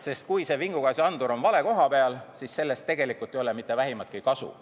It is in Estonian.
Sest kui vingugaasiandur on vale koha peal, siis sellest tegelikult ei ole vähimatki kasu.